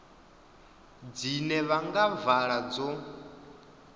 dzine vha nga vhala dzo